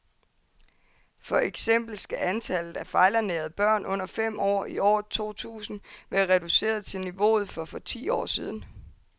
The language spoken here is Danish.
For eksempel skal antallet af fejlernærede børn under fem år i år to tusind være reduceret til niveauet for for ti år siden.